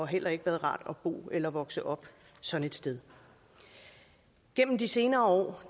heller ikke været rart at bo eller vokse op sådan et sted gennem de senere år